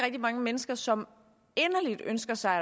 mange mennesker som inderligt ønsker sig